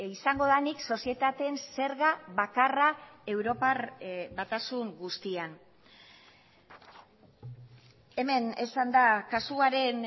izango da nik sozietateen zerga bakarra europar batasun guztian hemen esan da kasuaren